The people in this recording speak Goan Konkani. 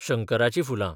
शंकराचीं फुलां